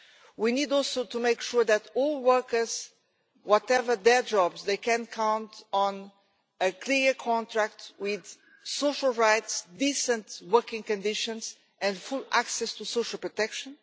We need also to make sure that all workers, whatever their jobs, can count on a clear contract with social rights, decent working conditions and full access to social protection